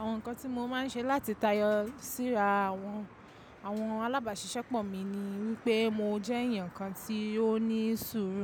Àwọn nǹkan tí mo máa ń ṣe láti tayọ síra àwọn, àwọn alábàáṣiṣẹ́pọ̀ mi ni wípé mo jẹ́ èèyàn kan tí ó ní sùúrù.